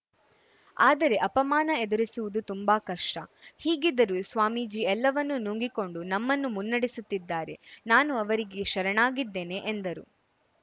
ಆದರೆ ಅಪಮಾನ ಎದುರಿಸುವುದು ತುಂಬಾ ಕಷ್ಟ ಹೀಗಿದ್ದರೂ ಸ್ವಾಮೀಜಿ ಎಲ್ಲವನ್ನೂ ನುಂಗಿಕೊಂಡು ನಮ್ಮನ್ನು ಮುನ್ನಡೆಸುತ್ತಿದ್ದಾರೆ ನಾನು ಅವರಿಗೆ ಶರಣಾಗಿದ್ದೇನೆ ಎಂದರು